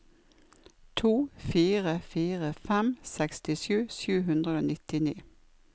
to fire fire fem sekstisju sju hundre og nittini